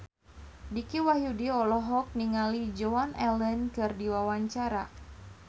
Dicky Wahyudi olohok ningali Joan Allen keur diwawancara